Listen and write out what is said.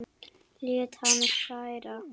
Lét hann færa